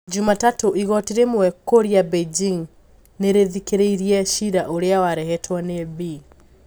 Jumatatũ, igoti rĩmwe kũria Beijing nirithikiriirie cira ũria warehetwo ni Bi.